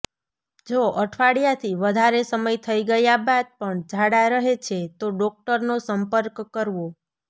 જો અઠવાડિયાથી વધારે સમય થઈ ગયા બાદ પણ ઝાડા રહે છે તો ડોક્ટરનો સંપર્ક કરવો